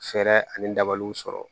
Fɛɛrɛ ani dabaliw sɔrɔ